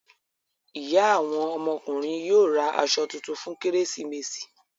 Ìyá àwọn ọmọkùnrin yóò ra aṣọ tuntun fún Kérésìmesì.